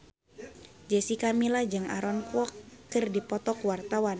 Jessica Milla jeung Aaron Kwok keur dipoto ku wartawan